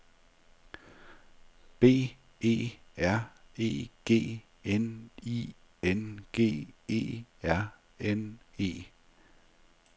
B E R E G N I N G E R N E